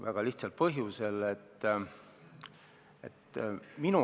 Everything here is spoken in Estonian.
Väga lihtsal põhjusel.